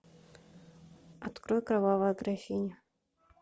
открой кровавая графиня